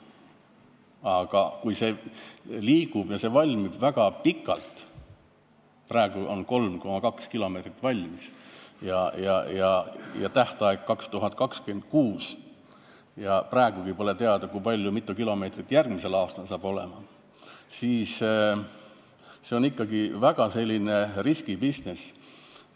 Aga kui see valmib väga pikalt – praegu on 3,2 kilomeetrit valmis ja tähtaeg on 2026, kuid praegugi pole teada, kui mitu kilomeetrit järgmisel aastal valmis saab –, siis on see ikkagi väga risky business.